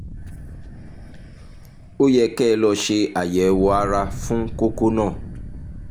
ó yẹ kẹ́ ẹ lọ ṣe àyẹ̀wò ara fún kókó náà